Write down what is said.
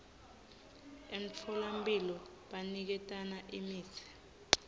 emtfolamphilo baniketana imitsi